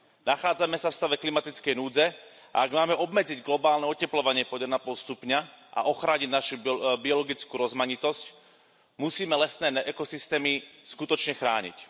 Nachádzame sa v stave klimatickej núdze a ak máme obmedziť globálne otepľovanie pod jeden a pol stupňa a ochrániť našu biologickú rozmanitosť, musíme lesné ekosystémy skutočne chrániť.